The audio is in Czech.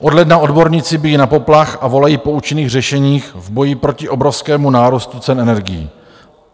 Od ledna odborníci bijí na poplach a volají po účinných řešeních v boji proti obrovskému nárůstu cen energií.